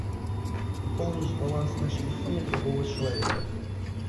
пополнить баланс на телефоне другого человека